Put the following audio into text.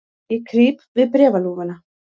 Ég krýp við bréfalúguna.